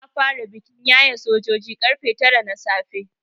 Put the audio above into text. Za a fara bikin yaye sojoji karfe tara na safe.